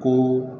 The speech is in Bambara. Ko